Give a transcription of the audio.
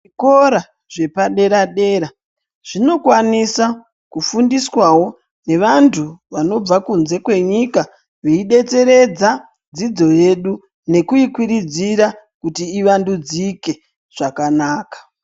Zvikora zvepadera-dera zvinokwanisa kufundiswawo nevantu vanobva kunze kwenyika, veidetseredza dzidzo yedu nekuikwiridzira kuti ivandudzike zvakanaka.